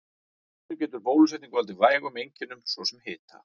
Stundum getur bólusetning valdið vægum einkennum, svo sem hita.